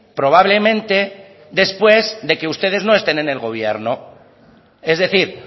probablemente después de que ustedes no estén en el gobierno es decir